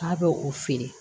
K'a bɛ o feere